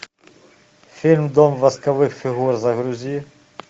фильм дом восковых фигур загрузи